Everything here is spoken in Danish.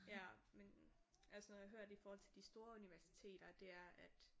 Ja men altså når jeg har hørt i forhold til de store universiteter det er at